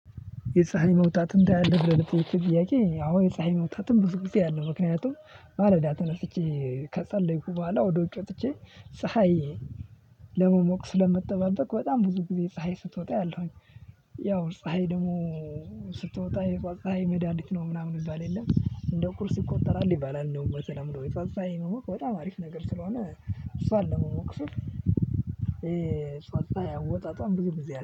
የፀሀይ መውጣትን ታያለህ ብለህ ብለህ ለጥየከኝ ጥያቄ? አዎ የፀሀይ መውጣትም ብዙ ጊዜ አያለው። ምክንያቱም ማለዳ ተነስቼ ከጸለይኩ በኋላ ወደ ውጭ ወጥቼ ፀሀይ ለመሞቅ ስለምጠባበቅ በጣም ብዙ ጊዜ ፀሀይ ስትወጣ አያለውኝ። ያው ፀሀይ ደግሞ ስትወጣ የጧት ፀሀይ መዳኒት ነው ምናምን የሚባል የለም እንደ እቁርስ ሲቆጠራል ይባላል እንደውም በተለምዶ የጧት ፀሀይ ነው በጣም አሪፍ ነገር ስለሆነ እሷን ነው ለመሞቅ ስል። ፀሀይ አወጣጦን ብዙ ጊዜ አያለሁ